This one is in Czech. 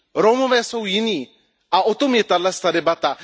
Romové jsou jiní a o tom je tato debata.